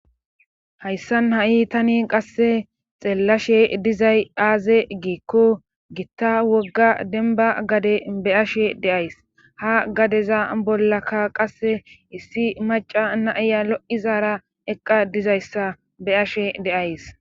hayssan ha7i tani qasse xeellashe dizay aaze giikko gitta wogga denba gade be ashe deays ha gadeza bollaka qasse issi maca naiya lo7izara eqqa dizayssa be ashe deays